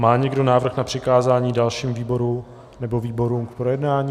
Má někdo návrh na přikázání dalšímu výboru nebo výborům k projednání?